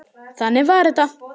Þannig var þetta.